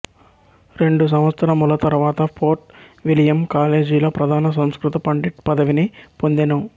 రెండు సంవత్సరముల తరువాత ఫోర్ట్ విలియమ్ కాలేజిలో ప్రధాన సంస్కృత పండిత్ పదవిని పొందెను